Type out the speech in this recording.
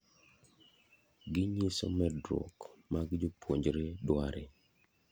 gi nyiso medruok mag jopuojre dware